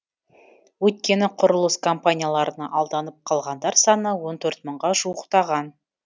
өйткені құрылыс компанияларына алданып қалғандар саны он төрт мыңға жуықтаған